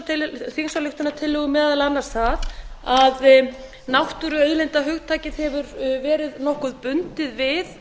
að vísa í meðal annars það að náttúruauðlindahugtakið hefur verið nokkuð bundið við